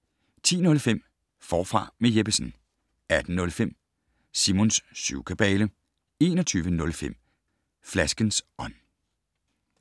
10:05: Forfra med Jeppesen 18:05: Simons syvkabale 21:05: Flaskens ånd